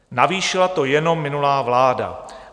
"Navýšila to jenom minulá vláda.